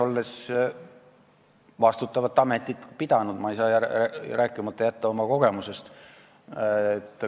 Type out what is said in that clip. Olles vastutavat ametit pidanud, ei saa ma jätta rääkimata oma kogemusest.